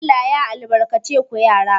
Allah ya albalace ku yara